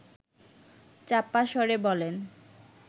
চাপা স্বরে বলেন